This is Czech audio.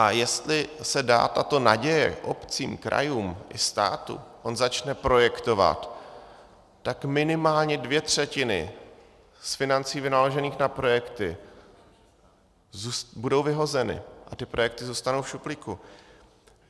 A jestli se dá tato naděje obcím, krajům i státu, oni začnou projektovat, tak minimálně dvě třetiny z financí vynaložených na projekty budou vyhozeny a ty projekty zůstanou v šuplíku.